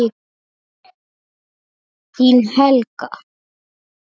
Þín, Helga.